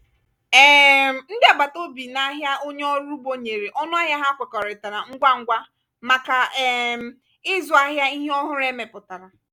um ndị agbata obi n'ahịa onye ọrụ ugbo nyere ọnụahịa ha kwekọrịtara ngwa ngwa maka um ịzụ ahịa ihe ọhụrụ e mepụtara.